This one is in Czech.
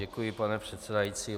Děkuji, pane předsedající.